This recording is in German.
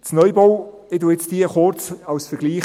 Ich zitiere diese nun kurz als Vergleich.